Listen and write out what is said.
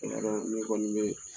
E ka d'ala ne kɔni bɛ